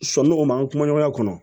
Sɔni o ma kuma ɲɔgɔnya kɔnɔ